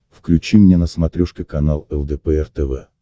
включи мне на смотрешке канал лдпр тв